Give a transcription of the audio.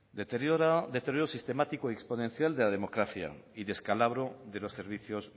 deterioro sistemático y exponencial de la democracia y descalabro de los servicios